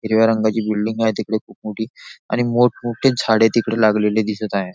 हिरव्या रंगाची बिल्डींग आहे तिकडे खूप मोठी आणि मोठमोठे झाडे तिकडे लागलेली दिसत आहे.